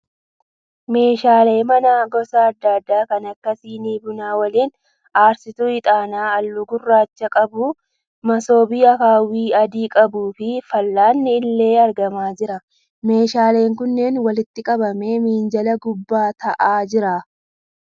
Meeshaalee manaa gosa adda adaa kan akka sinii buna waliin, aarsituu ixaanaa halluu gurraacha qabu, masoobii akaawwii adii qabu fi fal'aanni illee argamaa jira. Meeshaaleen kunneen walitti qabamee minjaala gubbaa ta'aa jira.